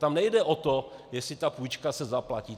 Tam nejde o to, jestli ta půjčka se zaplatí.